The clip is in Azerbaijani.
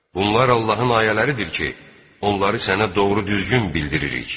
Bunlar Allahın ayələridir ki, onları sənə doğru düzgün bildiririk.